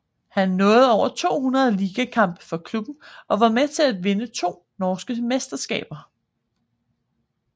Han nåede over 200 ligakampe for klubben og var med til at vinde to norske mesterskaber